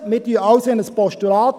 Wir wandeln alles in ein Postulat.